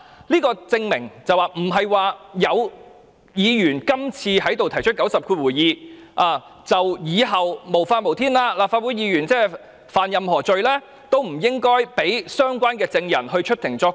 這證明不會因為今次有議員提出引用第902條，以後就會變得無法無天，以致立法會議員干犯何罪也不應讓相關證人出庭作供。